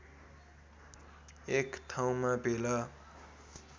एक ठाउँमा भेला